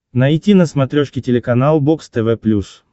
найти на смотрешке телеканал бокс тв плюс